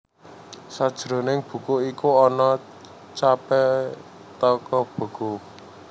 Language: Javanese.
Sajroning buku iku ana capé toko buku